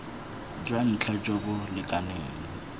jwa ntlha jo bo lekaneng